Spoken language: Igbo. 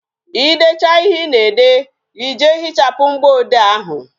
Ị decha ihe Ị na-ede, Ị jee hichapụ mgboode ahụ